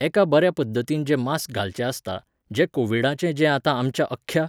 एका बऱ्या पद्दतीन जें मास्क घालचें आसता, जें कोविडाचें जें आतां आमच्या अख्ख्या